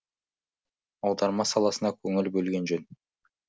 аударма саласына көңіл бөлген жөн